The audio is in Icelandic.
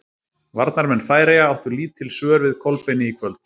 Varnarmenn Færeyja áttu lítil svör við Kolbeini í kvöld.